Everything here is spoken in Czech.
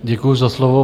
Děkuji za slovo.